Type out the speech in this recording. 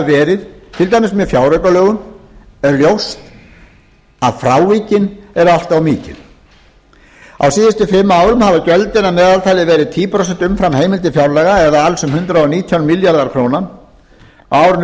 verið til dæmis með fjáraukalögum er ljóst að frávikin eru allt of mikil á síðustu fimm árum hafa gjöldin að meðaltali verið tíu prósent umfram heimildir fjárlaga eða alls um hundrað og nítján milljarðar króna á árinu tvö